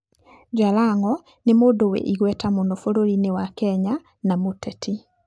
Jalango nĩ mũndũ wĩ igweta mũno bũrũriinĩ wa Kenya na mũteti.